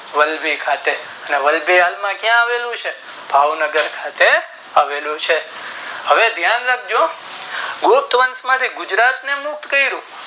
વલ્લભી ખાતે અને વલ્લભી ક્યાં આવેલું છે ભાવનગર ખાતે આવેલું છે હવે ધય્ન રાખજો ગુપ્ત વંશ માંથી ગુજરાત ને મુક્ત કરું